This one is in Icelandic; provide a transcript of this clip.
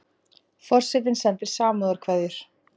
Forsetinn sendir samúðarkveðjur